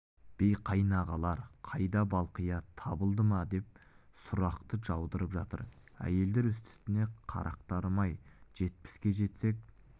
би қайнағалар қайда балқия табылды ма деп сұрақты жаудырып жатыр әйелдер үсті-үстіне қарақтарым-ай жетпіске жетсек